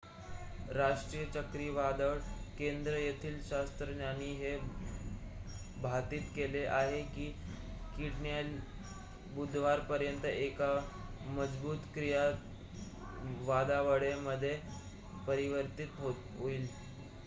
राष्ट्रीय चक्रीवादळ केंद्र येथील शास्त्रज्ञांनी हे भाकीत केलेले आहे कीडॅनीयल बुधवारपर्यंत एका मजबूत चक्रीवादळामध्ये परिवर्तीत होईल